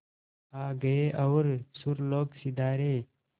आ गए और सुरलोक सिधारे